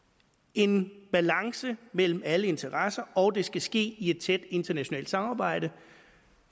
en balance mellem alle interesser og det skal ske i et tæt internationalt samarbejde